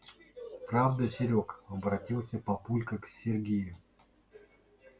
правда серёг обратился папулька к сергею